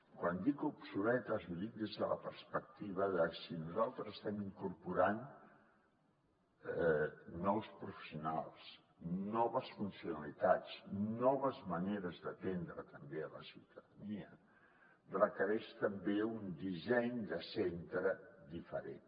quan dic obsoletes ho dic des de la perspectiva de si nosaltres estem incorporant nous professionals noves funcionalitats noves maneres d’atendre també la ciutadania requereix també un disseny de centre diferent